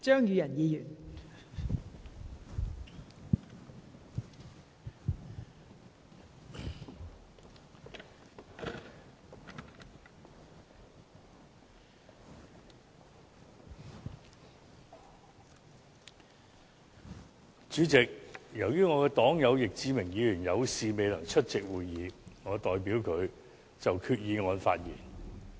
主席，由於我的黨友易志明議員有事未能出席會議，我代他就決議案發言。